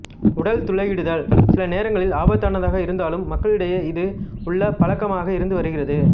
உடல் துளையிடுதல் சில நேரங்களில் ஆபத்தானதாக இருந்தாலும் மக்களிடையே இது உள்ள பழக்கமாக இருந்து வருகிறது